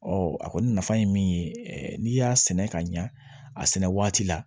a kɔni nafa ye min ye n'i y'a sɛnɛ ka ɲa a sɛnɛ waati la